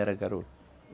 Era garoto.